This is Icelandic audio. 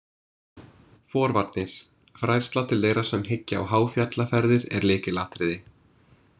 Forvarnir Fræðsla til þeirra sem hyggja á háfjallaferðir er lykilatriði.